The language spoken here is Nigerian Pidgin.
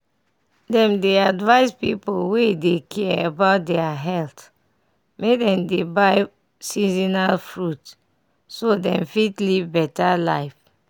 dem dey advise people wey dey care about deir health make make dem dey buy seasonal fruit so dem fit live better life.